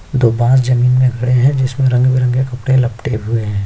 दोबार जमींन में गड़े है जिसमे रंग-बिरंगे कपड़े लपटे हुए है।